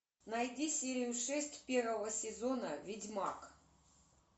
найди серию шесть первого сезона ведьмак